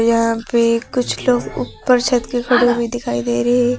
यहां पर कुछ लोग ऊपर छत के खड़े हुए दिखाई दे रहे हैं।